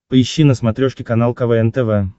поищи на смотрешке канал квн тв